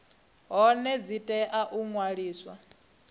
hone dzi tea u ṅwaliswa